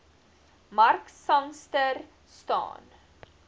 mark sangster staan